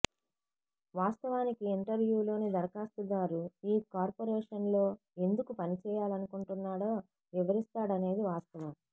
వాస్తవానికి ఇంటర్వ్యూలో దరఖాస్తుదారు ఈ కార్పొరేషన్లో ఎందుకు పనిచేయాలనుకుంటున్నాడో వివరిస్తాడనేది వాస్తవం